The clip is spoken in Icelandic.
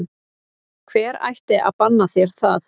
Hver ætti að banna þér það?